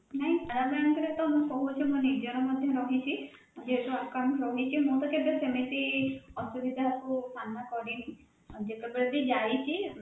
ନାଇଁ canara bank ରେ ତା ମୁଁ କହୁଛି ମୋ ନିଜର ମଧ୍ୟ ରହିଛି ଯେହେତୁ account ରହିଛି ମୁଁ ତା କେବେ ସେମିତି ଅସୁବିଧା କୁ ସାମ୍ନା କରିନି ଯେତେବେଳେ ବି ଯାଇଛି